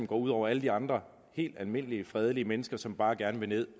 går ud over alle de andre helt almindelige fredelige mennesker som bare gerne vil